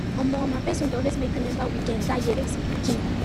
omo my best songs dey always make me remember weekends that year wey we still be pikin